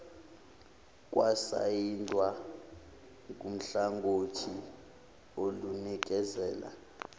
kwasayindwa nguhlangothi olunikezela